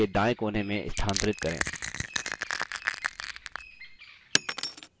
chart का आकार बदलें और sheet के दायें कोने में स्थानांतरित करें